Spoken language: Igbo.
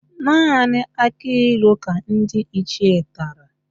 Naanị akịlụ ka ndị Ichie tara